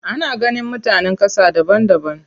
Ana ganin mutanen ƙasa daban daban.